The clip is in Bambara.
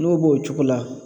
N'o b'o cogo la